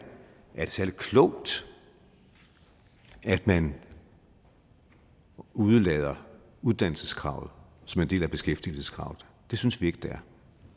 særlig klogt at man udelader uddannelseskravet som en del af beskæftigelseskravet det synes vi ikke det